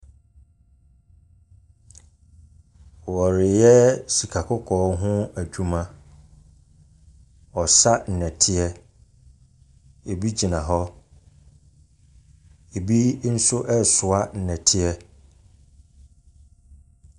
Wɔreyɛ sika kɔkɔɔ ho adwuma. Wɔresa nnɛteɛ. Ebi gyina hɔ. Ebi nso resoa nnɛteɛ.